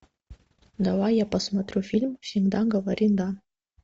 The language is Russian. давай я посмотрю фильм всегда говори да